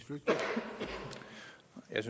jeg